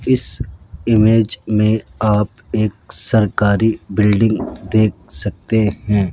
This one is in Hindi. इस इमेज में आप एक सरकारी बिल्डिंग देख रहे हैं।